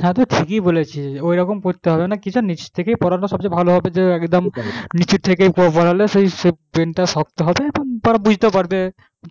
তাই তো ঠিকই বলেছি ওই রকম করতে হবে নিচ থেকে পড়ানো সবচেয়ে ভালো হবে যে একদম নিচের থেকে পড়ালে সেই brain টা শক্ত হবে তারা বুঝতে পারবে